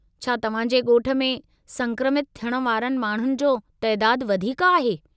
छा तव्हां जे ॻोठ में संक्रमित थियण वारनि माण्हुनि जो तइदादु वधीक आहे?